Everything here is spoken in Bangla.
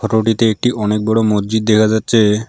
ফটোটিতে একটি অনেক বড়ো মজজিদ দেখা যাচ্ছে।